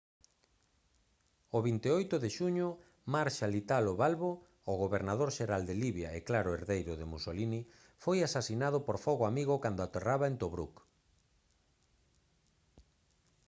o 28 de xuño marshal italo balbo o gobernador xeral de libia e claro herdeiro de mussolini foi asasinado por fogo amigo cando aterraba en tobruk